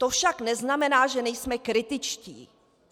To však neznamená, že nejsme kritičtí.